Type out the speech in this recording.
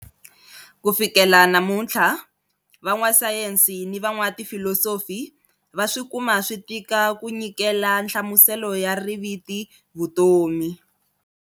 Kutafikela na namunthla, van'wa sayensi na van'wa tifilosofi va swikuma switika ku nyikela nhlamuselo ya riviti"vutomi".